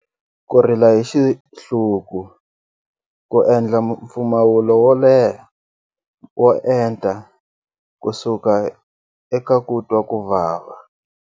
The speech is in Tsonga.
Ku rila hi xihluku, ku endla mpfumawulo wo leha, wo enta kusuka eka ku twa ku vava.